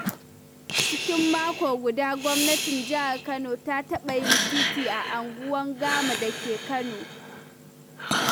Cikin mako guda, gwamnatin Jihar Kano ta taɓa yin titi a unguwar Gama da ke Kano.